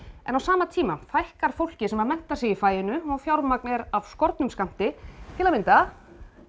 en á sama tíma fækkar fólki sem menntar sig í faginu og fjármagn er af skornum skammti til að mynda